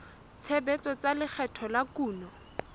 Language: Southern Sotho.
tshebetso tsa lekgetho la kuno